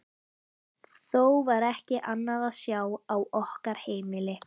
Þó var ekki annað að sjá á okkar heimili.